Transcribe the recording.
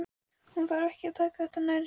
Hún þurfi ekki að taka þetta nærri sér.